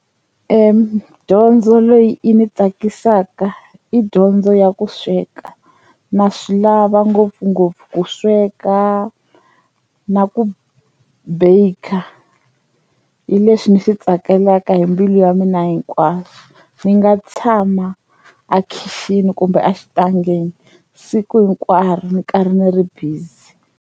Dyondzo leyi ni tsakisaka i dyondzo ya ku sweka na swi lava ngopfungopfu ku sweka na ku baker hi leswi ni swi tsakelaka hi mbilu ya mina hinkwayo, ni nga tshama a khixini kumbe exitangeni siku hinkwaro ni karhi ni ri busy.